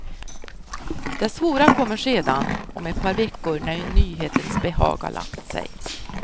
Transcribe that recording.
Det svåra kommer sedan, om ett par veckor när nyhetens behag har lagt sig.